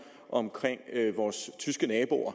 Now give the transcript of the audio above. om vores tyske naboer